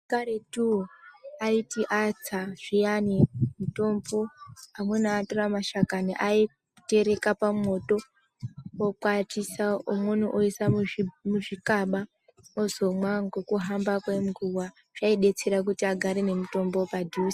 Vantu vekaretu aiti atsa zviyani mitombo amweni atora mashakani aimatereka pamwoto okwatisa. Umweni oisa muzvikaba ozomwa ngekuhamba kwenguva zvaidetsera kuti agare nemitombo padhuze .